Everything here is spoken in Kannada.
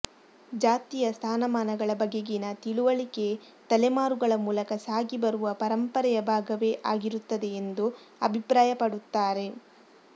ಜಾತಿಯ ಸ್ಥಾನಮಾನಗಳ ಬಗೆಗಿನ ತಿಳುವಳಿಕೆ ತಲೆಮಾರುಗಳ ಮೂಲಕ ಸಾಗಿ ಬರುವ ಪರಂಪರೆಯ ಭಾಗವೇ ಆಗಿರುತ್ತದೆ ಎಂದು ಅಭಿಪ್ರಾಯ ಪಡುತ್ತಾರೆ